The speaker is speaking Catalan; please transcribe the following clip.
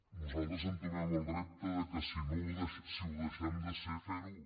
nosaltres entomem el repte que si ho deixem de ser fer·ho